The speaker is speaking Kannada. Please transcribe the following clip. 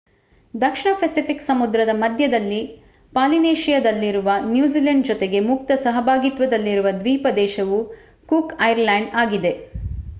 ದಕ್ಷಿಣ ಪೆಸಿಫಿಕ್ ಸಮುದ್ರದ ಮಧ್ಯದಲ್ಲಿ ಪಾಲಿನೇಶಿಯಾದಲ್ಲಿರುವ ನ್ಯೂಜಿಲೆಂಡ್ ಜೊತೆಗೆ ಮುಕ್ತ ಸಹಭಾಗಿತ್ವದಲ್ಲಿರುವ ದ್ವೀಪ ದೇಶವು ಕೂಕ್ ಐಲ್ಯಾಂಡ್ಸ್ ಆಗಿದೆ